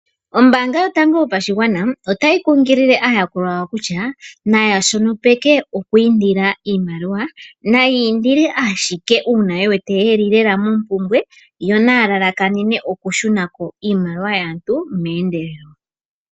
Ombaanga yotango yopashigwana otayi kunkilile aayakulwa yawo kutya naya shopeke oku indila iimaliwa, naya indile ashike uuna ye wete lela yeli mompumbwe yo naya lalakanene oku shunako iimaliwa yaantu meendelelo.